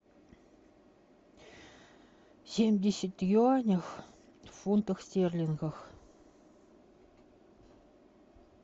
семьдесят юаней в фунтах стерлингах